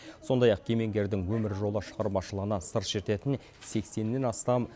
сондай ақ кемеңгердің өмір жолы шығармашылығына сыр шертетін сексеннен астам